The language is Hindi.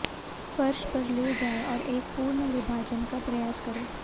फर्श पर ले जाएं और एक पूर्ण विभाजन का प्रयास करें